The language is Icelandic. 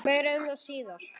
Meira um það síðar.